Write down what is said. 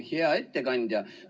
Hea ettekandja!